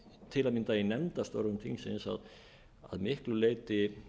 til að mynda í nefndastörfum þingsins að miklu leyti